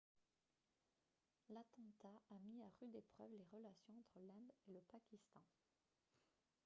l'attentat a mis à rude épreuve les relations entre l'inde et le pakistan